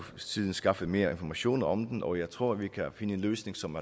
siden skaffet mere information om den og jeg tror vi kan finde en løsning som